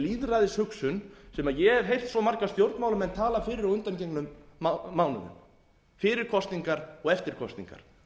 lýðræðishugsun sem ég hef heyrt svo marga stjórnmálamenn tala fyrir á undangengnum mánuðum fyrir kosningar og eftir kosningar